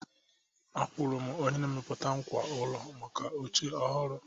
Akwụụrụ m onye na-emepụta ngwá ụlọ maka oche ọhụrụ